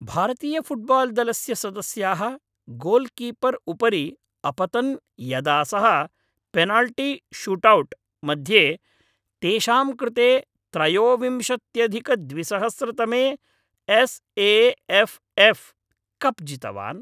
भारतीयफ़ुट्बाल् दलस्य सदस्याः गोल्कीपर् उपरि अपतन् यदा सः पेनल्टी शूट्औट् मध्ये तेषां कृते त्रयोविंशत्यधिकद्विसहस्रतमे S A F F cup जितवान्।